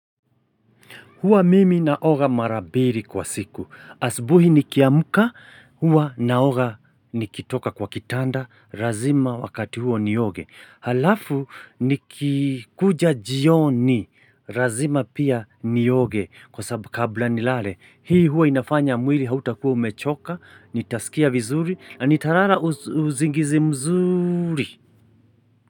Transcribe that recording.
Huwa mimi naoga mara biri kwa siku. Asbuhi nikiamuka, huwa naoga nikitoka kwa kitanda, razima wakati huo ni oge. Halafu ni kikuja jioni, razima pia ni oge, kwa sababu kabla ni lale. Hii huwa inafanya mwiri hauta kuwa umechoka, nitaskia vizuri, nanitarara uzingizi mzuri.